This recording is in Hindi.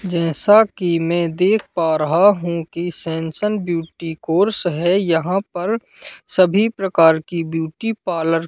जैसा कि मैं देख पा रहा हूं कि सेंसशन ब्यूटी कोर्स है यहां पर सभी प्रकार की ब्यूटी पार्लर --